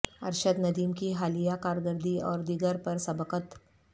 ارشد ندیم کی حالیہ کارکردگی اور دیگر پر سبقت